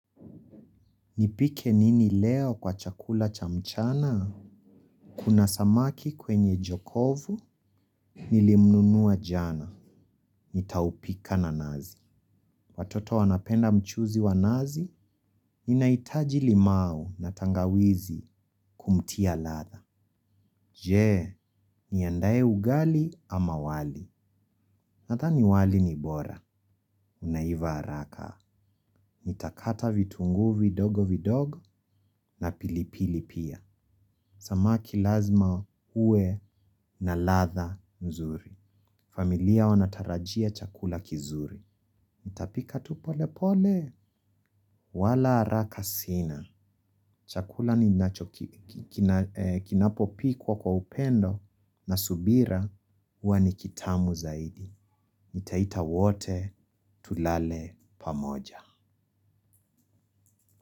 Nipike nini leo kwa chakula cha mchana? Kuna samaki kwenye jokovu nilimnunua jana. Nitaupika na nazi. Watoto wanapenda mchuzi wa nazi. Ninahitaji limau na tangawizi kumtia ladha. Je, niandae ugali ama wali. Nadhani wali ni bora. Unaiva haraka. Nitakata vitunguu vidogo vidogo na pilipili pia. Samaki lazima uwe na ladha mzuri. Familia wanatarajia chakula kizuri. Nitapika tu pole pole. Wala haraka sina. Chakula ninacho kinapopikwa kwa upendo na subira. Huwa ni kitamu zaidi. Nitaita wote tulale pamoja.